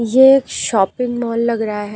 ये एक shopping mall लग रहा है।